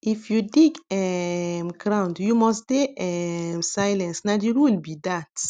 if you dig um ground you must dey um silence na the rule be dat